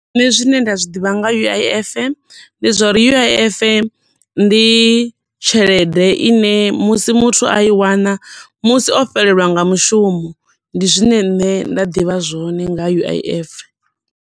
Nṋe zwine nda zwiḓivha nga U_I_F, ndi zwo uri U_I_F ndi tshelede ine musi muthu a i wana, musi o fhelelwa nga mushumo, ndi zwine nṋe nda ḓivha zwone nga U_I_F.